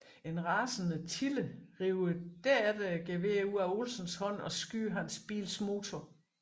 En rasende Tille river derefter geværet ud af Olsens hånd og skyder hans bils motor